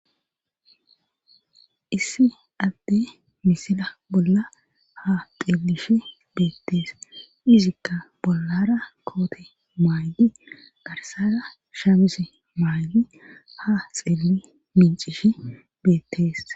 Issi adde misila bolla ha xeelishe beettees izikka bollara koote maayi garsara shamise maayyi ha xeelli mincishi beettees.